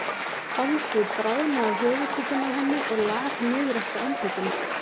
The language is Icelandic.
Holdið bráðnaði af höfuðkúpunni á henni og lak niður eftir andlitinu.